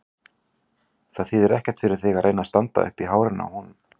Það þýðir ekkert fyrir þig að reyna að standa uppi í hárinu á honum.